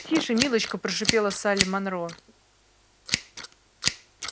тише милочка прошипела салли монро